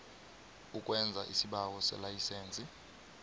ukwenza isibawo selayisense